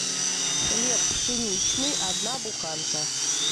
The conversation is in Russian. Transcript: хлеб пшеничный одна буханка